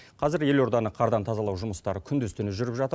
қазір елорданы қардан тазалау жұмыстары күндіз түні жүріп жатыр